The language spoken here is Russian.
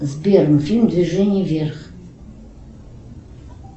сбер фильм движение вверх